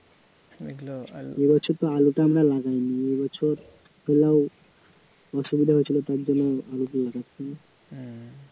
এবছর তো আলুটা আমরা লাগাইনি এবছর অসুবিধা হয়েছিল তারজন্য